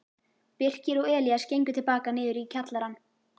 Birkir og Elías gengu til baka niður í kjallarann.